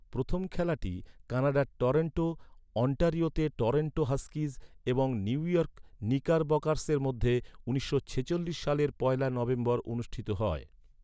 প্রথম খেলাটি কানাডার টরন্টো, অন্টারিওতে টরন্টো হাস্কিজ এবং নিউইয়র্ক নিকারবকার্সের মধ্যে উনিশশো ছেচল্লিশ সালের পয়লা নভেম্বর অনুষ্ঠিত হয়।